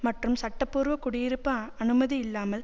மற்றும் சட்டப்பூர்வ குடியிருப்பு அனுமதி இல்லாமல்